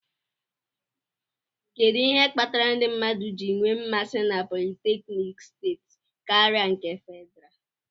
Kedu ihe kpatara ndị mmadụ ji nwee mmasi na politékiniki steeti karịa nke Fedrá?